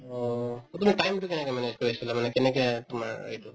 অ, to তুমি time তো কেনেকে manage কৰি আছিলা মানে কেনেকে তোমাৰ এইটো